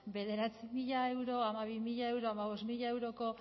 bederatzi mila euro hamabi mila euro hamabost mila euroko